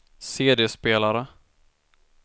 CD-spelare